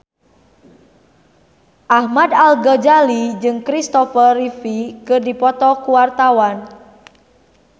Ahmad Al-Ghazali jeung Christopher Reeve keur dipoto ku wartawan